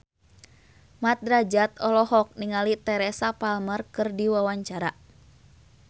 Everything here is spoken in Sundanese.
Mat Drajat olohok ningali Teresa Palmer keur diwawancara